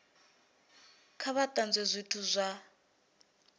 kha vha tanzwe zwithu zwa